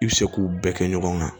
I bɛ se k'u bɛɛ kɛ ɲɔgɔn kan